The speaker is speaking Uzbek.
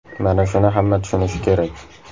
Mana shuni hamma tushunishi kerak.